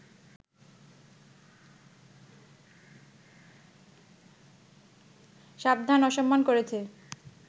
সাবধান, অসম্মান করেছে